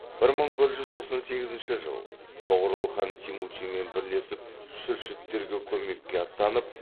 бір мың бір жүз тоқсан сегізінші жыл тоғорыл хан темучинмен бірлесіп шүршіттерге көмекке аттанып